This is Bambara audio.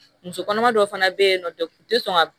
Muso kɔnɔma dɔw fana be yen nɔ u ti sɔn ka